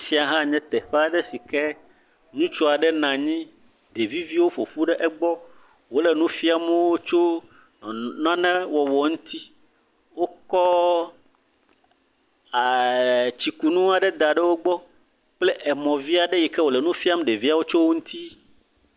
Afi ya hã nye teƒe aɖe si ke ŋutsu aɖe nɔ anyi ɖevivi aɖewo ƒoƒu ɖe egbɔ, wole nu fiam ɖeviawo tso nane wɔwɔ ŋuti, wokɔ aa..eee. tsikunu aɖe da ɖe egbɔ kple emɔ vi aɖe si ŋu wole nu fiam ɖeviawo tso eŋuti.